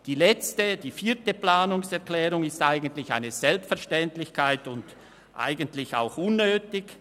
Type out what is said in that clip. Die letzte, vierte Planungserklärung ist eigentlich eine Selbstverständlichkeit, eigentlich ist sie auch unnötig.